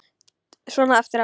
Svona eftir á.